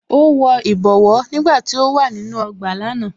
Ó wọ ìbọwọ́ nígbàtí ó wà nínú ọgbà lánàá